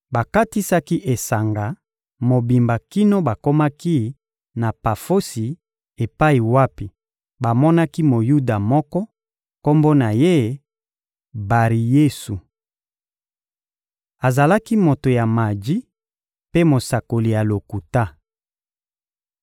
Bakatisaki esanga mobimba kino bakomaki na Pafosi epai wapi bamonaki Moyuda moko, kombo na ye «Bari-Yesu.» Azalaki moto ya maji mpe mosakoli ya lokuta.